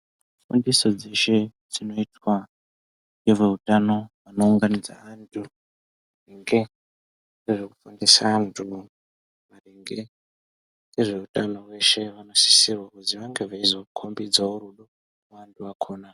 Fundiso dzeshe dzinoitwa ngeveutano anounganidza antu nge zvekufundisa antu maringe ngezveutano veshe vanosisirwa kuzi vange veizokombidzawo rudo vantu vakhona.